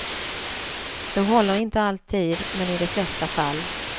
Det håller inte alltid men i de flesta fall.